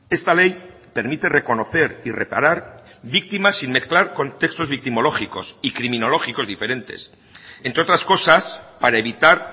esta ley permite reconocer y reparar víctimas sin mezclar contextos victimológicos y criminológicos diferentes entre otras cosas para evitar